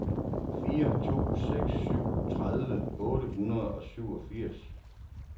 fire to seks syv tredive otte hundrede og syvogfirs